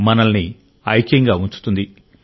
మనల్ని ఐక్యంగా ఉంచుతుంది